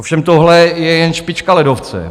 Ovšem tohle je jen špička ledovce.